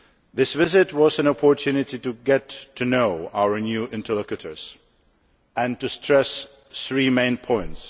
This visit was an opportunity to get to know our new interlocutors, and to stress three main points.